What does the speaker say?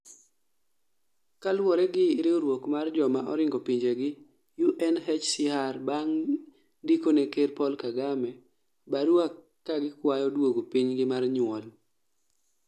kaluwore gi riwruok mar joma oringo pinjegi UNHCR Bang' ndikone ker Paul Kagame barua kaa gikwayo duogo pinygi mar nyuol